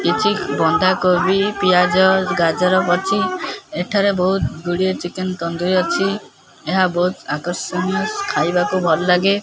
କିଛି ବନ୍ଧା କୋବି ପିଆଜ ଗାଜର ଅଛି ଏଠାରେ ବହୁତ ଗୁଡିଏ ଚିକେନ ତନ୍ଦୁରୀ ଅଛି ଏହା ବହୁତ ଆକର୍ଷଣୀୟ ଖାଇବାକୁ ଭଲ ଲାଗେ।